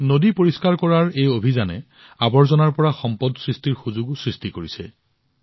নদী পৰিষ্কাৰ কৰাৰ এই অভিযানে আৱৰ্জনাৰ পৰা সম্পদ সৃষ্টিৰ সুযোগো সৃষ্টি কৰিছে